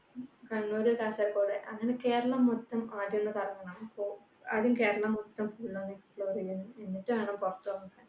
കണ്ണൂര് കാസർഗോഡ് അങ്ങനെ കേരളം മൊത്തം ആദ്യം ഒന്ന് കറങ്ങണം. അപ്പൊ കേരളം മൊത്തം full ഒന്ന് explore യ്യണം എന്നിട്ട് വേണം പുറത്തുപോകാൻ